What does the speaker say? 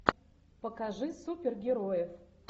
покажи супергероев